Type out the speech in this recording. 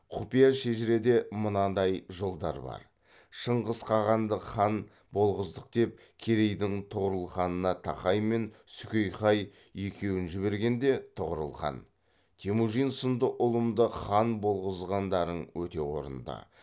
құпия шежіреде мынадай жолдар бар шыңғыс хағанды хан болғыздық деп керейдің тұғырыл ханына тақай мен сүкейхай екеуін жібергенде тұғырыл хан темүжин сынды ұлымды хан болғызғандарың өте орынды